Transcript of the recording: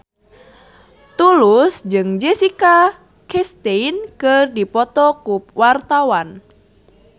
Tulus jeung Jessica Chastain keur dipoto ku wartawan